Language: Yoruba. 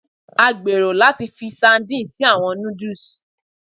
A gbero lati fi sardine si awọn nudus